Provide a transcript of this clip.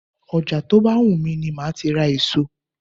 Ọjà tó bá wù mí ni máa ti ra èso.